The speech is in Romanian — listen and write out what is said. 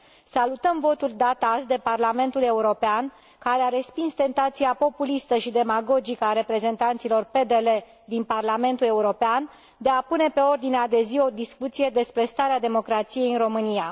Salutăm votul dat azi de Parlamentul European, care a respins tentația populistă și demagogică a reprezentanților PDL din Parlamentul European de a pune pe ordinea de zi o discuție despre starea democrației în România.